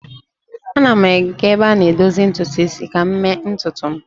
Ana m aga ebe a na-edozi ntutu isi ka m mee ntutu m